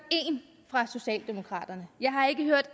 én fra socialdemokraterne jeg har ikke hørt